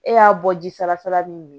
E y'a bɔ ji sanfɛla min